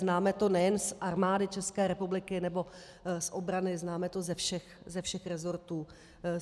Známe to nejen z Armády České republiky nebo z obrany, známe to ze všech resortů.